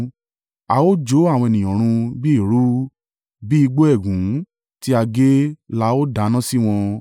A ó jó àwọn ènìyàn run bí eérú; bí igbó ẹ̀gún tí a gé la ó dáná sí wọn.”